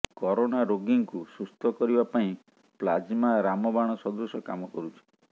corona ରୋଗୀଙ୍କୁ ସୁସ୍ଥ କରିବା ପାଇଁ ପ୍ଲାଜ୍ମା ରାମବାଣ ସଦୃଶ କାମ କରୁଛି